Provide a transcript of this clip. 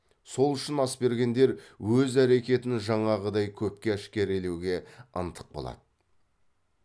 сол үшін ас бергендер өз әрекетін жаңағыдай көпке әшкерелеуге ынтық болады